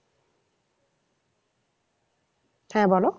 হ্যাঁ বলো